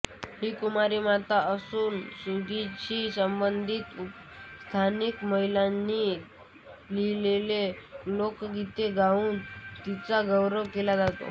ही कुमारी माता असून सुगीशी संबंधित स्थानिक माहिलांनी लिहीलेली लोकगीते गाऊन तिचा गौरव केला जातो